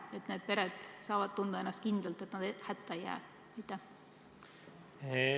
Kas need pered saavad tunda ennast kindlalt, et nad ei jää hätta?